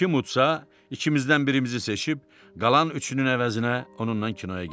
Kim udsa, ikimizdən birimizi seçib, qalan üçün əvəzinə onunla kinoya getsin.